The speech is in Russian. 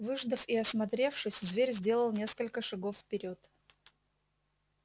выждав и осмотревшись зверь сделал несколько шагов вперёд